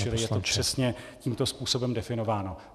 Čili je to přesně tímto způsobem definováno.